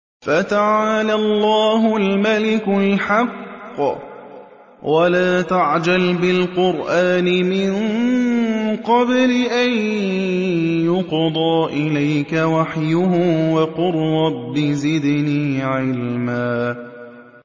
فَتَعَالَى اللَّهُ الْمَلِكُ الْحَقُّ ۗ وَلَا تَعْجَلْ بِالْقُرْآنِ مِن قَبْلِ أَن يُقْضَىٰ إِلَيْكَ وَحْيُهُ ۖ وَقُل رَّبِّ زِدْنِي عِلْمًا